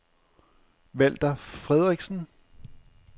Walther Friedrichsen